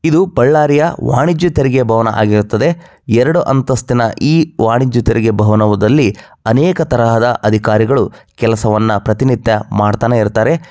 ಇದು ಬಳ್ಳಾರಿಯ ವಾಣಿಜ್ಯ ತೆರಿಗೆ ಭವನ ಆಗಿರುತ್ತದೆ. ಎರಡು ಅಂತಸ್ತಿನ ಈ ವಾಣಿಜ್ಯ ತೆರಿಗೆ ಭವನದಲ್ಲಿ ಅನೇಕ ತರಹದ ಅಧಿಕಾರಿಗಳು ಕೆಲಸವನ್ನ ಪ್ರತಿನಿತ್ಯ ಮಾಡ್ತಾನೆ ಇರುತ್ತಾರೆ.